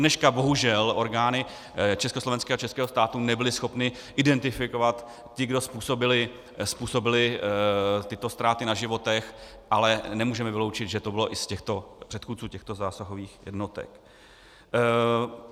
Dodneška bohužel orgány československého a českého státu nebyly schopny identifikovat ty, kdo způsobili tyto ztráty na životech, ale nemůžeme vyloučit, že to bylo i z těchto předchůdců těchto zásahových jednotek.